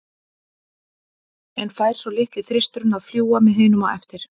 En fær svo litli þristurinn að fljúga með hinum á eftir?